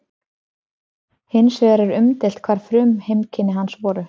Hins vegar er umdeilt hvar frumheimkynni hans voru.